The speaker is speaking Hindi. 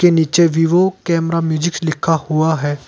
के नीचे वीवो कैमरा म्यूजिक्स लिखा हुआ है।